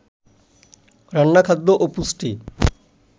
রান্না খাদ্য ও পুষ্টি